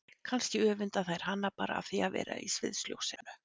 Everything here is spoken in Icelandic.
Kannski öfunda þær hana bara af því að vera í sviðsljósinu.